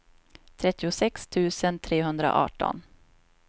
trettiosex tusen trehundraarton